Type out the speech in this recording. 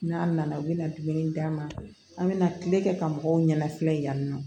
N'a nana u bɛna dumuni d'an ma an bɛna tile kɛ ka mɔgɔw ɲɛnafiya yan nɔ